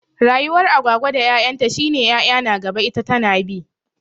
Rayuwar Agwagwa da 'ya'yan ta shi ne 'ya'yan na gaba ita tana bi.